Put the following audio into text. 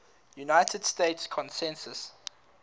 united states census